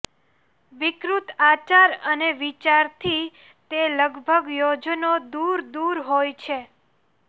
વિકૃત આચાર અને વિચારથી તે લગભગ યોજનો દૂર દૂર હોય છે